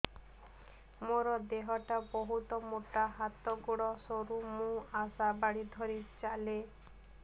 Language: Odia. ମୋର ଦେହ ଟା ବହୁତ ମୋଟା ହାତ ଗୋଡ଼ ସରୁ ମୁ ଆଶା ବାଡ଼ି ଧରି ଚାଲେ